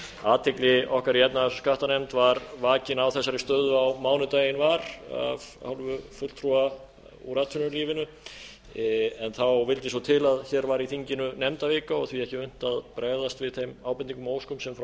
athygli okkar í efnahags og skattanefnd var vakin á þessari stöðu á mánudaginn var af hálfu fulltrúa úr atvinnulífinu en þá vildi svo til að hér var í þinginu nefndavika og því ekki unnt að bregðast við þeim ábendingum og óskum sem frá